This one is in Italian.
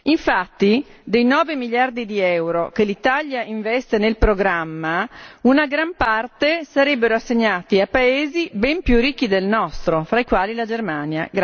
Infatti, dei 9 miliardi di euro che l'Italia investe nel programma, una gran parte sarebbe assegnata a paesi ben più ricchi del nostro, fra i quali la Germania.